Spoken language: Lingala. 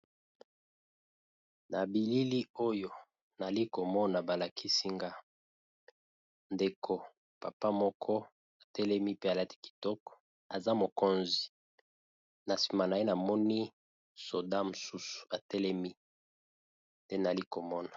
Na bilili oyo nali komona ba lakisi nga ndeko papa moko atelemi pe alati kitoko aza mokonzi, na nsima na ye namoni soda mosusu atelemi te nali komona.